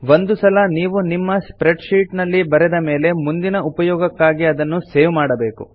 ಒಂದು ಸಲ ನೀವು ನಿಮ್ಮ ಸ್ಪ್ರೆಡ್ ಶೀಟ್ ನಲ್ಲಿ ಬರೆದ ಮೇಲೆ ಮುಂದಿನ ಉಪಯೋಗಕ್ಕಾಗಿ ಅದನ್ನು ಸೇವ್ ಮಾಡಬೇಕು